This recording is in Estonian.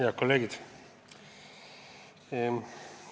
Head kolleegid!